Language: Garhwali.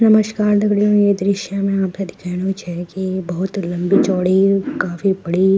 नमस्कार दगड़ियों ये दृश्य मा आपथे दिखेणु छ की बहौत लम्बी चौड़ी काफी बड़ी --